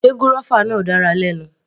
Sé gúrọ́fà náà dára lẹ́nu.